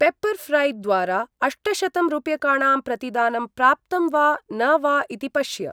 Pepper ऴ्रै द्वारा अष्टशतं रूप्यकाणां प्रतिदानं प्राप्तं वा न वा इति पश्य।